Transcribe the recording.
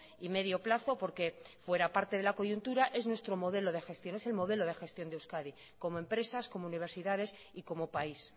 y medio plazo porque fuera parte de la coyuntura es nuestro modelo de gestión es el modelo de gestión de euskadi como empresas como universidades y como país